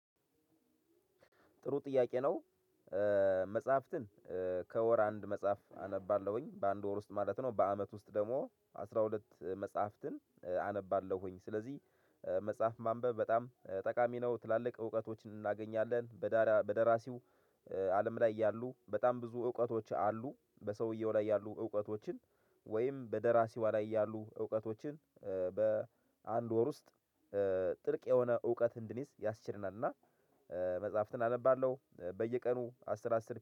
ጥሩ ጥያቄ ነው። መጽሐፍትን ከወር አንድ መጽሐፍ አነባለሁኝ በአንድ ወር ውስጥ ማለት ነው በአመት ውስጥ ደግሞ አስራ ሁለት መጽሐፍትን አነባለሁኝ ስለዚህ መጽሐፍ ማንበብ በጣም ጠቃሚ ነው ትላልቅ እውቀቶችን እናገኛለን በዳራ በደራሲው አለም ላይ ያሉ በጣም ብዙ እውቀቶች አሉ። በሰውየው ላይ ያሉ እውቀቶችን ወይም በደራሲዋ ላይ ያሉ እውቀቶችን በአንድ ወር ውስጥ ጥልቅ የሆነ እውቀት እንድንይዝ ያስችለናል እና መጽሐፍትን አነባለሁ። በየቀኑ አስር አስር